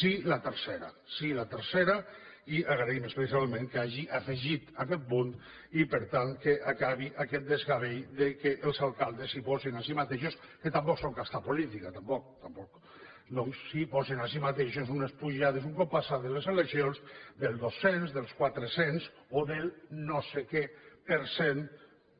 sí la tercera sí la tercera i agraïm especialment que hi hagi afegit aquest punt i per tant que acabi aquest desgavell que els alcaldes es posin a si mateixos que tampoc són casta política tampoc tampoc unes pujades un cop passades les eleccions del dos cents del quatre cents o del no sé què per cent